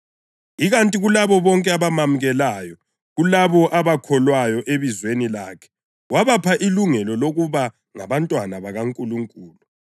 Ikanti kulabo bonke abamamukelayo, kulabo abakholwayo ebizweni lakhe, wabapha ilungelo lokuba ngabantwana bakaNkulunkulu,